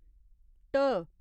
ढ